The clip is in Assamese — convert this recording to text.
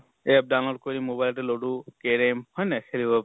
app download কৰি mobile তে ludo, carom হয় নে নহয় খেলিব